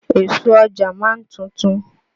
Èso Ọjà ma ń tuntun.